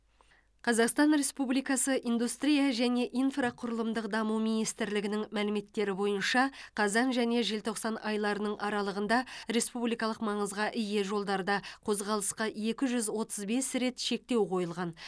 қазақстан республикасы индустрия және инфрақұрылымдық даму министрлігінің мәліметтері бойынша қазан және желтоқсан айларының аралығында республикалық маңызға ие жолдарда қозғалысқа екі жүз отыз бес рет шектеу қойылған